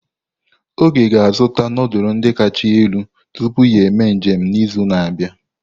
Oge ga-azụta nudulu ndi kacha elu tupu ya eme njem n'izu na-abịa.